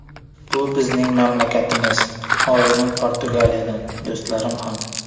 Bu bizning mamlakatimiz: oilam Portugaliyadan, do‘stlarim ham.